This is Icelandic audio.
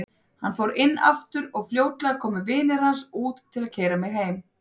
Hann fór inn aftur og fljótlega komu vinir hans út til að keyra mig heim.